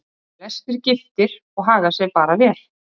Flestir giftir og haga sér bara vel.